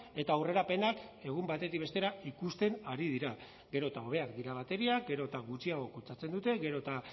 eta aurrerapenak egun batetik bestera ikusten ari dira gero eta hobeak dira bateriak gero eta gutxiago kutsatzen dute gero eta